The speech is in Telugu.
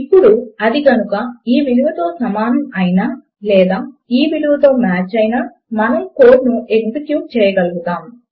అప్పుడు అది కనుక ఈ విలువతో సమానము అయినా లేదా ఈ విలువతో మాచ్ అయినా సరే మనము కోడ్ ను ఎక్జిక్యూట్ చేయగలుగుతాము